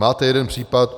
Máte jeden případ.